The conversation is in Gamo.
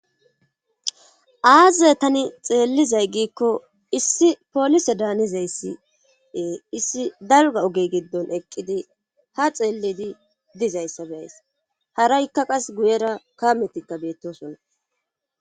Aazey tani xeellizay giikko issi polise daanizayssiee issi dalga oge giddon eqqidi ha xeellidi dizayssa beays hara ikka qas guyera kametikka beettosonna.